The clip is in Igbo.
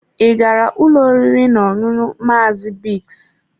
Ị gara ụlọ oriri na ọṅụṅụ Maazị Biggs.